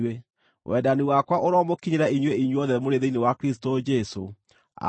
Wendani wakwa ũromũkinyĩra inyuĩ inyuothe mũrĩ thĩinĩ wa Kristũ Jesũ. Ameni.